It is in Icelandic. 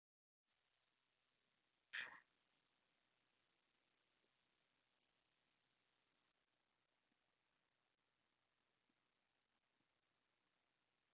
Enginn hlusta á okkur.